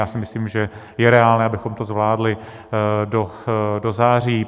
Já si myslím, že je reálné, abychom to zvládli do září.